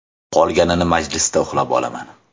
Qolganini majlisda uxlab olaman.